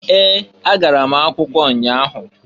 Ee! Agara m akwụkwọ ụnya ahụ.